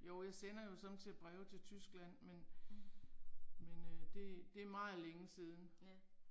Jo jeg sender jo sommetider breve til Tyskland men. Men øh det det er meget længe siden